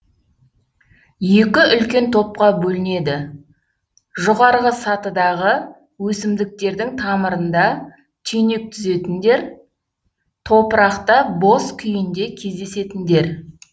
екі үлкен топқа бөлінеді жоғарғы сатыдағы өсімдіктердің тамырында түйнек түзетіндер топырақта бос күйінде кездесетіндер